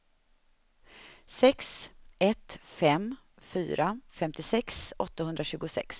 sex ett fem fyra femtiosex åttahundratjugosex